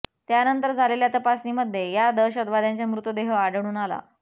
त्यानंतर झालेल्या तपासणीमध्ये या दहशतवाद्यांंचे मृतदेह आढळून आला